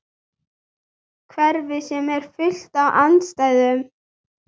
Hverfið sem er fullt af andstæðum.